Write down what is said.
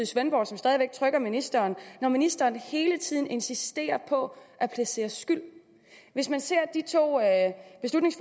svendborg som stadig væk trykker ministeren når ministeren hele tiden insisterer på at placere skyld de to at